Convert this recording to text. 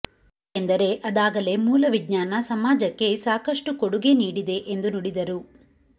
ಯಾಕೆಂದರೆ ಅದಾಗಲೇ ಮೂಲವಿಜ್ಞಾನ ಸಮಾಜಕ್ಕೆ ಸಾಕಷ್ಟು ಕೊಡುಗೆ ನೀಡಿದೆ ಎಂದು ನುಡಿದರು